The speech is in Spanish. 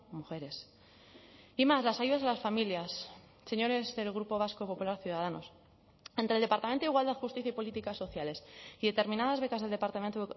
mujeres y más las ayudas a las familias señores del grupo vasco popular ciudadanos entre el departamento de igualdad justicia y políticas sociales y determinadas becas del departamento